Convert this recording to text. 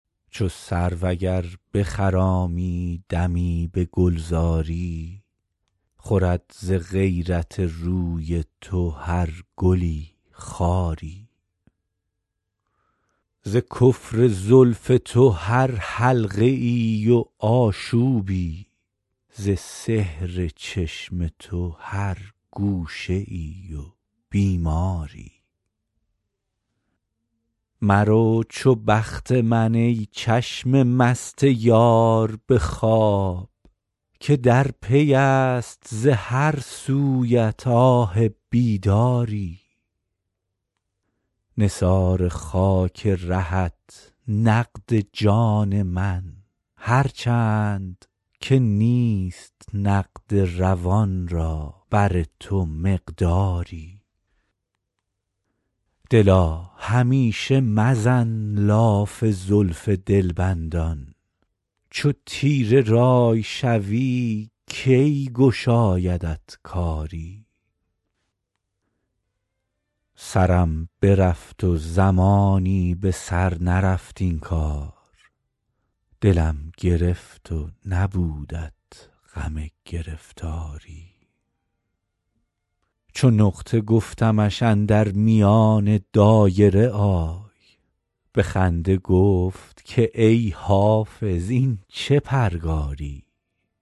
چو سرو اگر بخرامی دمی به گلزاری خورد ز غیرت روی تو هر گلی خاری ز کفر زلف تو هر حلقه ای و آشوبی ز سحر چشم تو هر گوشه ای و بیماری مرو چو بخت من ای چشم مست یار به خواب که در پی است ز هر سویت آه بیداری نثار خاک رهت نقد جان من هر چند که نیست نقد روان را بر تو مقداری دلا همیشه مزن لاف زلف دلبندان چو تیره رأی شوی کی گشایدت کاری سرم برفت و زمانی به سر نرفت این کار دلم گرفت و نبودت غم گرفتاری چو نقطه گفتمش اندر میان دایره آی به خنده گفت که ای حافظ این چه پرگاری